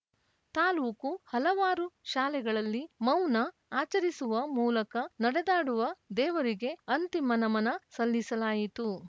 ತಾಲೂಕು ಹಲವಾರು ಶಾಲೆಗಳಲ್ಲಿ ಮೌನ ಆಚರಿಸುವ ಮೂಲಕ ನಡೆದಾಡುವ ದೇವರಿಗೆ ಅಂತಿಮ ನಮನ ಸಲ್ಲಿಸಲಾಯಿತು